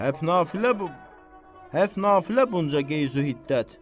Həp nafilə bu, həp nafilə bunca qeyzu-iddət.